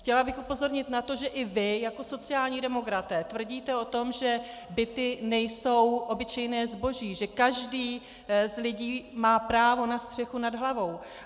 Chtěla bych upozornit na to, že i vy jako sociální demokraté tvrdíte o tom, že byty nejsou obyčejné zboží, že každý z lidí má právo na střechu nad hlavou.